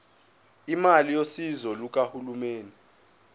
imali yosizo lukahulumeni